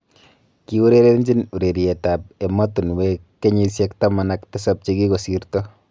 Kiurerenjin ureriet ab emotunwek keyisieg taman ak tisab chegikosirto.